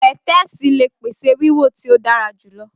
Pẹtẹẹsì le pese wiwo ti o dara julọ.